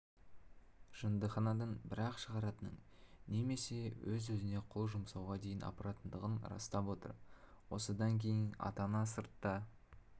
жындыханадан бір-ақ шығаратынын немесе өз-өзіне қол жұмсауға дейін апаратындығын растап отыр осыдан кейін ата-ана сыртта